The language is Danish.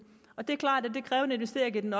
det er klart at det kræver en investering i den